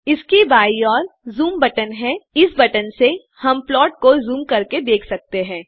इसकी बाएँ ओर ज़ूम बटन है इस बटन से हम प्लॉट को ज़ूम कर के देख सकते हैं